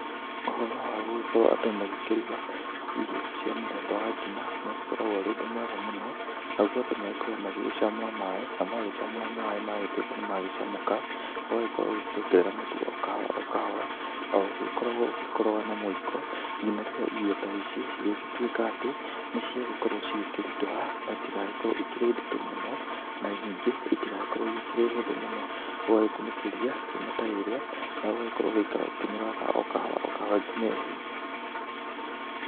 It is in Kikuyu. Ũhoro wa gũgĩkorwo andũ magĩkĩruga irio cia mũthemba wa ngima nĩ ũkoragwo ũrĩ ũndũ mwega mũno. Naguo andũ magĩkoragwo magĩgĩcamũra maaĩ, na magĩcamũra maaĩ magĩtuĩka nĩ magĩcamũka, ũgagĩkorwo ũgĩkĩongerera mũtu o kahora o kahora o ũĩgĩkoragwo ũgĩkoroga na mũiko nginya rĩrĩa irio ta ici cirĩgĩtuĩka atĩ nĩ ciagĩkorwo cigĩkĩritũha. Na itigagĩkorwo ikĩrĩ nditũ mũno na ningĩ itigagĩkorwo ikĩrĩ hũthũ mũno, ũgagĩkunĩkĩria ngima ta ĩrĩa na ũgakorwo ũgĩikara ũkĩmĩroraga ngina ĩhĩe.